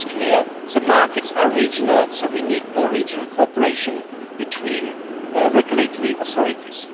It is clear that the markets are regional and so we need more regional cooperation between regulatory authorities.